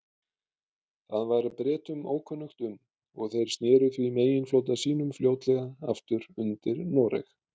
Það var Bretum ókunnugt um, og þeir sneru því meginflota sínum fljótlega aftur undir Noreg.